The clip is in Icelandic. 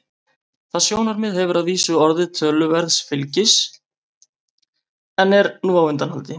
Það sjónarmið hefur að vísu notið töluverðs fylgis en er nú á undanhaldi.